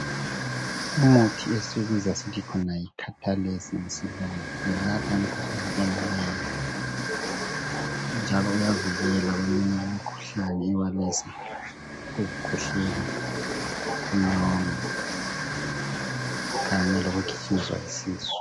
Umuthi esiwubiza sisithi yicatalase ngesilungu welapha imikhuhlane eminengi njalo uyavikela eminye imikhuhlane ebalelwa ukukhwehlela, inyongo kanye lokugijinyiswa yisisu.